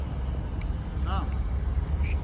namn